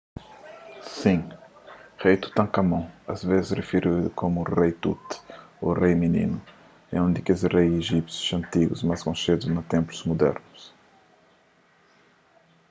sin rei tutankámon asvês rifiridu komu rei tut ô rei mininu é un di kes rei ijípsius antigu más konxedu na ténplus mudernu